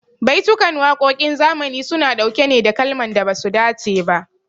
Baitukan waƙoƙin zamani su na ɗauke ne da kalaman da basu dace ba